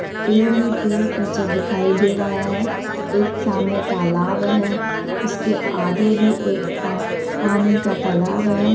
पेड़ ही पेड़ पीछे दिखाई दे रहा है एक सामने तालाब है इसके आगे भी एक पा पानी का तालाब है।